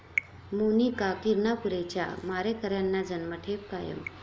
मोनिका किरणापुरेच्या मारेकऱ्यांना जन्मठेप कायम